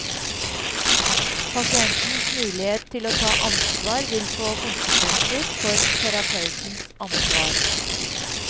Pasientens mulighet til å ta ansvar vil få konsekvenser for terapeutens ansvar.